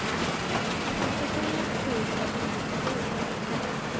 femtiotre tusen nittiosju